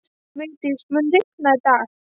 Vigdís, mun rigna í dag?